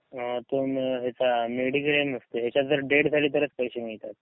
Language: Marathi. अ यांच्यात मेडिक्लेम असते, यांच्यात डेथ झाली तरच पैसे मिळतात.